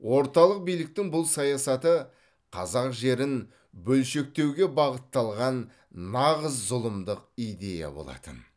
орталық биліктің бұл саясаты қазақ жерін бөлшектеуге бағытталған нағыз зұлымдық идея болатын